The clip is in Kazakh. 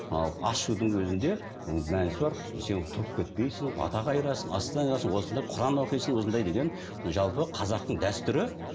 ал ас ішудің өзінде мәнісі бар сен тұрып кетпейсің бата қайырасың ас осында құран оқисың осындай деген жалпы қазақтың дәстүрі